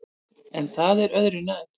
En það er öðru nær.